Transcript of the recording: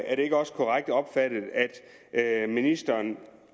er det ikke også korrekt opfattet at ministeren